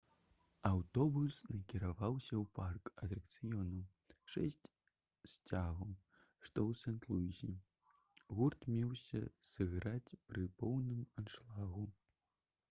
аўтобус накіроўваўся ў парк атракцыёнаў «шэсць сцягоў» што ў сент-луісе. гурт меўся сыграць пры поўным аншлагу